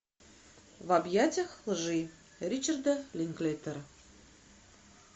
в объятьях лжи ричарда линклейтера